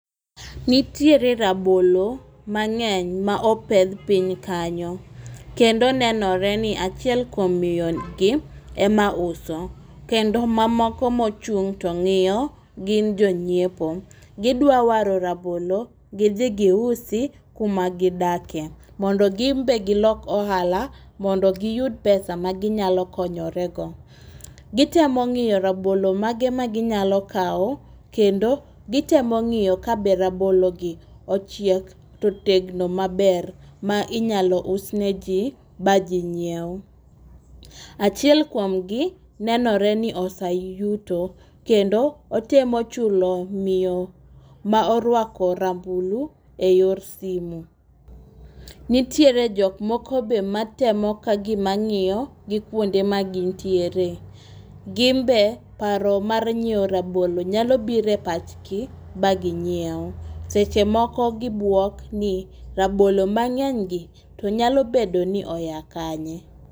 Nitiere rabolo mang'eny ma opedh piny kanyo kendo nenore ni achiel kuom miyo ni gi ema uso kendo mamoko mochung' to ng'iy gin jonyiepo. Gidwa waro rabnolo gidhi gisuo kuma gidake mondo gin be gilok ohala mondo giyud pesa ma ginyalo konyore go. Gitemo ng'iyo rabolo mage ma ginyalo kawo kendo gitemo ngiyo kabe rabolo gi ochiek totegno maber ma inyalo usne jii bajii nyiew. Achiel kuomgi nenore ni oseyuto kendo otemo chulo miyo ma orwako rambulu eyor simu .Nitiere jok moko be ma temo kagima ng'iyo gi kuonde ma gintiere. Gin be paro mar nyiewo rabolo nyalo bire pachgi ba ginyiew. Seche moko gibuok ni rabolo mang'eny gi to nyalo bedo ni oya kanye.